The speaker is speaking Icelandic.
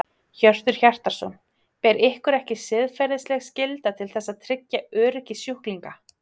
Hjörtur Hjartarson: Ber ykkur ekki siðferðisleg skylda til þess að tryggja öryggi sjúklinga?